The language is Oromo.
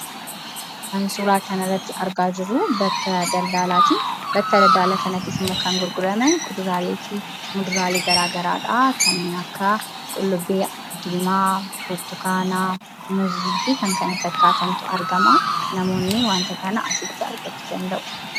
Kan suuraa kanarratti argaa jirru bakka daldalaati. Bakka daldalaa kanattis immoo kan gurguraman mudaaraalee garaagaraadha kanneen akka qullubbii diimaa, burtukaana, muuzii fi kan kana fakkaatantu argamaa. Namoonni wanta kana asitti argachuu danda'u.